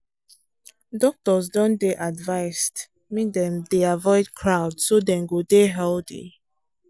doctors don dey advised make dem dey avoid crowd so dem go dey healthy.